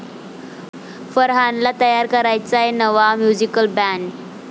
फरहानला तयार करायचाय नवा 'म्युझिकल बँड'